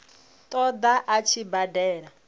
ṱo ḓa a tshi badela